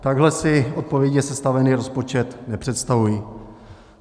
Takhle si odpovědně sestavený rozpočet nepředstavuji.